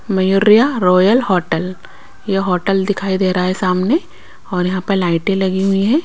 Mayuriya royal hotel ये hotel दिखाई दे रहा है सामने और यहां पे लाइटें लगी हुई है।